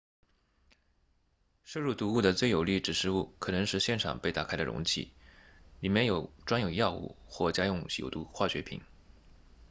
摄入毒物的最有力指示物可能是现场被打开的容器里面装有药物或家用有毒化学品